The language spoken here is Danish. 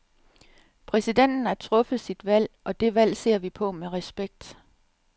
Præsidenten har truffet sit valg, og det valg ser vi på med respekt.